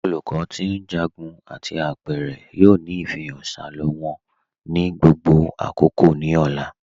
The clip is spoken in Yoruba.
Olùkọ ti njágún àti apẹ̀rẹ̀ yoo ni ifihàn salọ wọn ni gbogbo àkókò ni ọ̀là.